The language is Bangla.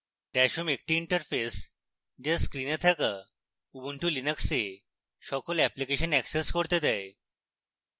dash home একটি interface যা screen থাকা ubuntu linux a সকল অ্যাপ্লিকেশন অ্যাক্সেস করতে দেয়